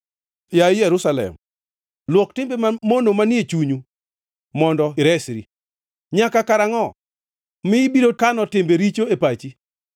Yaye Jerusalem, luok timbe mamono manie chunyu mondo iresri. Nyaka karangʼo mi ibiro kano timbe richo e pachi?